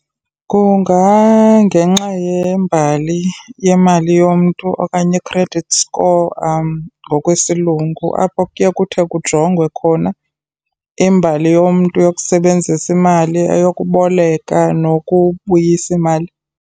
Kungangenxa yembali yemali yomntu okanye i-credit score ngokwesilungu, apho kuye kuthe kujongwe khona imbali yomntu yokusebenzisa imali, eyokuboleka nokubuyisa imali.